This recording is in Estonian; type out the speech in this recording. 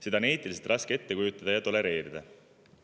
Seda on eetiliselt raske ette kujutada ja tolereerida.